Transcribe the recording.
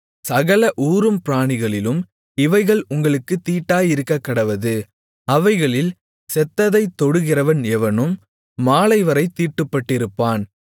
சகல ஊரும் பிராணிகளிலும் இவைகள் உங்களுக்குத் தீட்டாயிருக்கக்கடவது அவைகளில் செத்ததைத் தொடுகிறவன் எவனும் மாலைவரைத் தீட்டுப்பட்டிருப்பான்